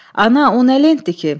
Ana, o nə lentdir ki?